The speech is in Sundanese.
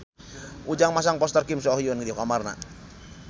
Ujang masang poster Kim So Hyun di kamarna